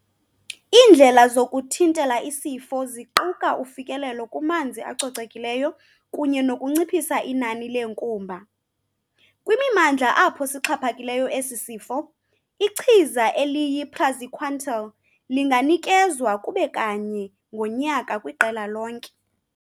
Iindlela zokuthintela isifo ziquka ufikelelo kumanzi acocekileyo kunye nokunciphisa inani leenkumba. Kwimimandla apho sixhaphakileyo esi sifo, ichiza eliyi-praziquantel linganikezwa kube kanye ngonyaka kwiqela lonke.